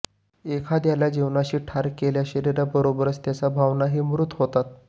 एखाद्याला जीवानीशी ठार केल्यास शरिराबरोबरच त्याच्या भावनाही मृत होतात